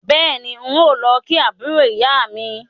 Bẹ́ẹ̀ni, n ó lọ kí àbúrò ìyá mi